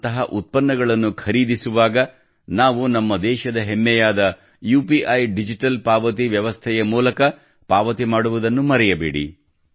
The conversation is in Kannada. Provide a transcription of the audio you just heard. ಅಂತಹ ಉತ್ಪನ್ನಗಳನ್ನು ಖರೀದಿಸುವಾಗ ನಾವು ನಮ್ಮ ದೇಶದ ಹೆಮ್ಮೆಯಾದ ಯುಪಿಐ ಡಿಜಿಟಲ್ ಪಾವತಿ ವ್ಯವಸ್ಥೆಯ ಮೂಲಕ ಪಾವತಿ ಮಾಡುವುದನ್ನು ಮರೆಯಬೇಡಿ